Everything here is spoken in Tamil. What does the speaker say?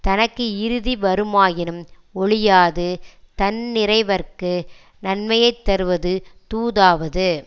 தனக்கு இறுதி வருமாயினும் ஒழியாது தன்னிறைவற்கு நன்மையை தருவது தூதாவது